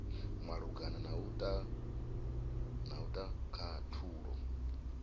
malugana na u ta khathulo